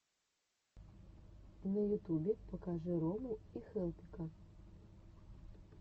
на ютубе покажи рому и хелпика